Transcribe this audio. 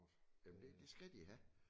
Jamen det det skal de have